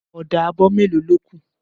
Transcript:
Ọ̀dà abọ melo ló kù